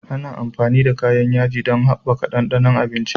Ana amfani da kayan yaji don haɓaka ɗanɗanon abinci.